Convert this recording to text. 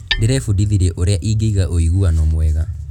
Ndĩrebundithirie ũrĩa ingĩiga ũiguano mwega.